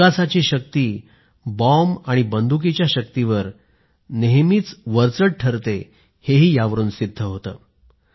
विकासाची शक्ती बॉम्ब आणि बंदुकीच्या शक्तीवर नेहमीच भारी ठरते हेही यावरून सिद्ध होतं